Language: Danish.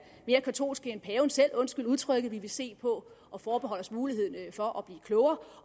mere katolske end paven selv undskyld udtrykket vi vil se på og forbeholde os muligheden for at blive klogere